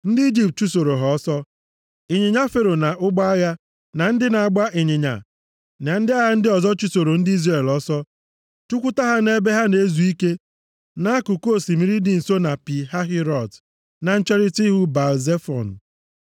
Ndị Ijipt chụsoro ha ọsọ, ịnyịnya Fero na ụgbọ agha, na ndị na-agba ịnyịnya na ndị agha ndị ọzọ chụsoro ndị Izrel ọsọ chụkwute ha nʼebe ha na-ezu ike nʼakụkụ osimiri dị nso na Pi Hahirot na ncherita ihu Baal-Zefọn.